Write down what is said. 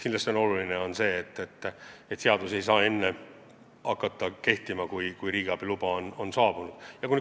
Kindlasti on aga oluline, et seadus ei saa enne hakata kehtima, kui riigiabiluba on saabunud.